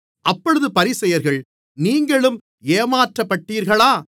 அப்பொழுது பரிசேயர்கள் நீங்களும் ஏமாற்றப்பட்டீர்களா